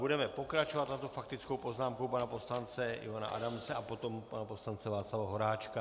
Budeme pokračovat, a to faktickou poznámkou pana poslance Ivana Adamce a potom pana poslance Václava Horáčka.